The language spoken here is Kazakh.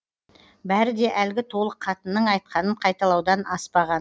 бәрі де әлгі толық қатынның айтқанын қайталаудан аспаған